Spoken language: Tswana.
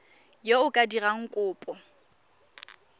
yo o ka dirang kopo